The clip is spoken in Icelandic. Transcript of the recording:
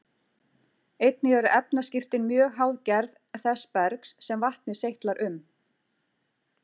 Einnig eru efnaskiptin mjög háð gerð þess bergs sem vatnið seytlar um.